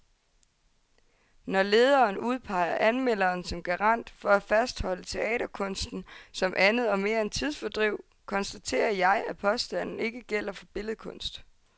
Når lederen udpeger anmelderen som garant for at fastholde teaterkunsten som andet og mere end tidsfordriv, konstaterer jeg, at påstanden ikke gælder for billedkunst.